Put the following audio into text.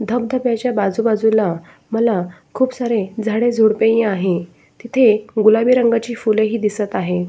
धाबधब्या च्या बाजू बाजू ला मला खूप सारे झाडे झुडपे ही आहे तिथे गुलाबी रंगाची फुलं ही दिसत आहे.